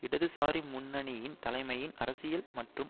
இடதுசாரி முன்னணியின் தலைமையின் அரசியல் மற்றும்